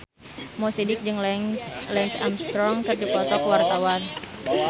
Mo Sidik jeung Lance Armstrong keur dipoto ku wartawan